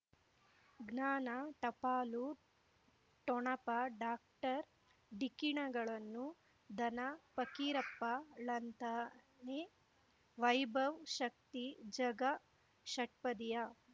ಜ್ಞಾನ ಟಪಾಲು ಠೊಣಪ ಡಾಕ್ಟರ್ ಢಿಕ್ಕಿ ಣಗಳನು ಧನ ಫಕೀರಪ್ಪ ಳಂತಾನೆ ವೈಭವ್ ಶಕ್ತಿ ಝಗಾ ಷಟ್ಪದಿಯ